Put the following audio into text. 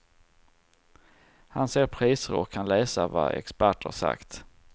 Han ser priser och kan läsa vad experter sagt.